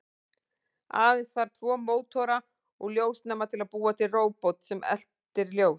Aðeins þarf tvo mótora og ljósnema til að búa til róbot sem eltir ljós.